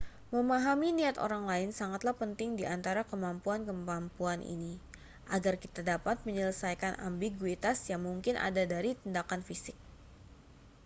memahami niat orang lain sangatlah penting di antara kemampuan-kemampuan ini agar kita dapat menyelesaikan ambiguitas yang mungkin ada dari tindakan fisik